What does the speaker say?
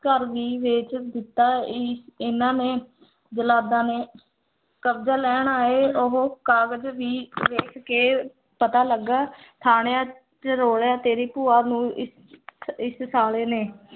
ਘਰ ਵੀ ਵੇਚ ਦਿੱਤਾ ਇ ਇਹਨਾਂ ਨੇ ਜ਼ਲਾਦਾਂ ਨੇ ਕਬਜਾ ਲੈਣ ਆਏ ਉਹ ਕਾਗਜ਼ ਵੀ ਵੇਖ ਕੇ ਪਤਾ ਲੱਗਾ ਥਾਣਿਆਂ ਚ ਰੌਲਿਆਂ ਤੇਰੀ ਭੂਆ ਨੂੰ ਇ ਇਸ ਸਾਲੇ ਨੇ